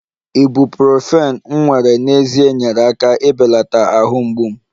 ibuprofen m were n'ezie nyeere aka ibelata ahụ mgbu m